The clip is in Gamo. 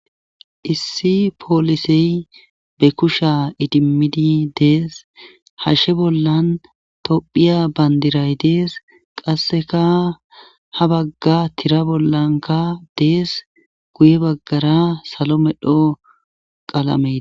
Issi poolisey be kusha idimmidi dees hashshe bollan tophiya bandiray dees qasseka ha bagga tira bollanka dees guye baggara salo medho qalamei.